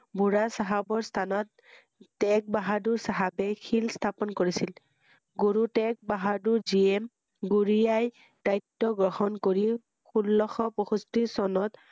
বুঢ়া চাহাবৰ স্হানত টেগ বাহাদুৰ চাহাবে শিল স্হাপন কৰিছিল ৷গুৰু টেগ বাহাদুৰ যিয়ে গুৰিয়াই দায়িত্ব বহন কৰি ষোল্ল শ পয়ষষ্ঠি চনত